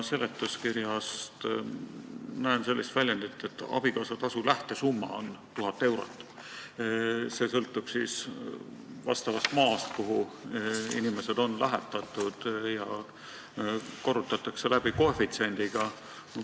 Seletuskirjast ma loen välja, et abikaasatasu lähtesumma on 1000 eurot, see sõltub siis vastavast maast, kuhu inimesed on lähetatud, ja korrutatakse läbi koefitsiendiga.